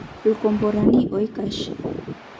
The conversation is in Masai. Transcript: Ikomborani oikash.